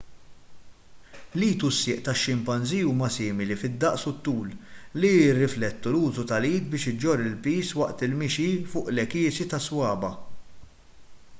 l-id u s-sieq tax-ximpanżì huma simili fid-daqs u t-tul li jirrifletti l-użu tal-id biex iġorr il-piż waqt il-mixi fuq l-għekiesi tas-swaba'